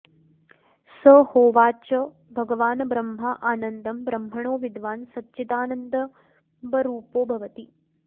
स होवाच भगवान् ब्रह्मा आनन्दं ब्रह्मणो विद्वान् सच्चिदानन्दम्बरूपो भवति